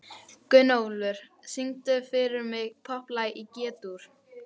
Gunnólfur, syngdu fyrir mig „Popplag í G-dúr“.